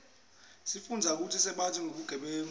isifundzisa kutsi singatsandzi bugebengu